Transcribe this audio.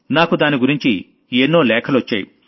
నాకు దాని గురించి ఎన్నో లేఖలొచ్చాయి